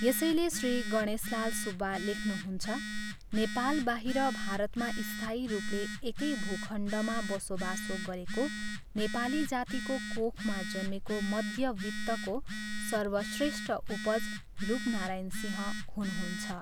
यसैले श्री गणेशलाल सुब्बा लेख्नुहुन्छ "नेपालबाहिर भारतमा स्थायी रूपले एकै भूखण्डमा बसोबासो गरेको नेपाली जातिको कोखमा जन्मेको मध्यवित्तको सर्वश्रेष्ठ उपज रूपनारायण सिंह हुनुहुन्छ।"